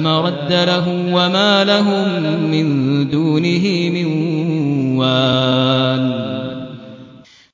مَرَدَّ لَهُ ۚ وَمَا لَهُم مِّن دُونِهِ مِن وَالٍ